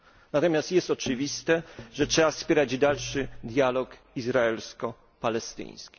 Natomiast jest oczywiste, że trzeba wspierać dalszy dialog izraelsko palestyński.